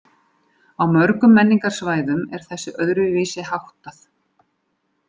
Á öðrum menningarsvæðum er þessu öðruvísi háttað.